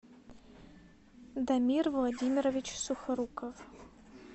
дамир владимирович сухоруков